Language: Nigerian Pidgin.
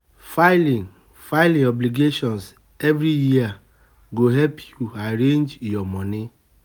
Filing, file your obligations every year go help you arrange your money